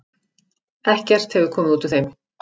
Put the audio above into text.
Ekkert hefur komið út úr þeim.